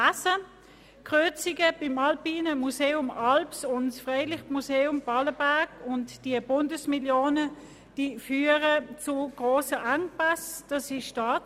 Die Kürzungen der Bundesmillion beim Alpinen Museum und beim Freilichtmuseum Ballenberg führen zu grossen finanziellen Engpässen.